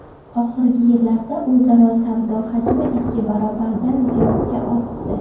Oxirgi yillarda o‘zaro savdo hajmi ikki barobardan ziyodga ortdi.